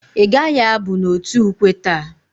I gaghi abu n'otu ukwe taa?